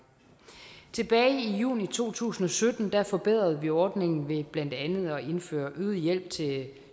tilbage i juni to tusind og sytten forbedrede vi ordningen ved blandt andet at indføre øget hjælp til